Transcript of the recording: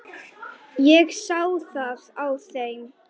Ég sá það á þeim.